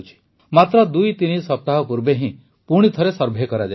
ମାତ୍ର ଦୁଇତିନି ସପ୍ତାହ ପୂର୍ବେ ହିଁ ପୁଣିଥରେ ସର୍ଭେ କରାଯାଇଛି